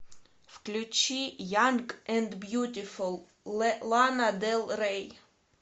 включи янг энд бьютифул лана дель рей